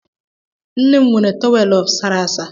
Nne m nwere tọwelụ sara asa.